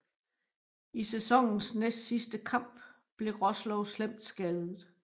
I sæsonens næstsidste kamp blev Roslovs slemt skadet